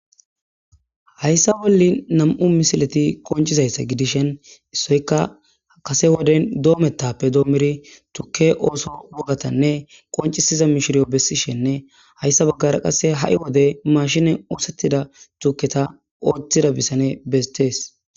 Hayssa wolli nam'u misileti qoncizayssa gidishen issoyka kase woden doometappe doommuri tukke ooso wogatanne qoncisiza mishiriyo bessishenne hayssa baggara qase ha'i wode mashine oosettida tuketa ooththida bisane betees.